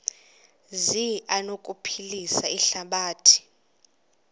zi anokuphilisa ihlabathi